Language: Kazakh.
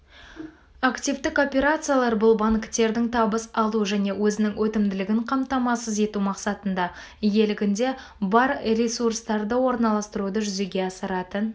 активтік операциялар бұл банктердің табыс алу және өзінің өтімділігін қамтамасыз ету мақсатында иелігінде бар ресурстарды орналастыруды жүзеге асыратын